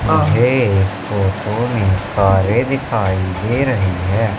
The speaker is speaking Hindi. कारे दिखाई दे रहे है।